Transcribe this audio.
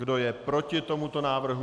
Kdo je proti tomuto návrhu?